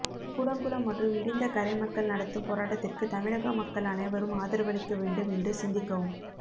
கூடங்குளம் மற்றும் இடிந்த கரை மக்கள் நடத்தும் போராட்டத்திற்கு தமிழக மக்கள் அனைவரும் ஆதரவளிக்க வேண்டும் என்று சிந்திக்கவும்